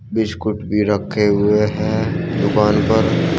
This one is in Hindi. बिस्किट भी रखे हुए हैं दुकान पर।